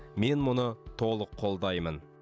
мен мұны толық қолдаймын